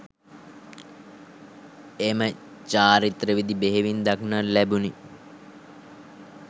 එම චාරිත්‍ර විධි බෙහෙවින් දක්නට ලැබුණි.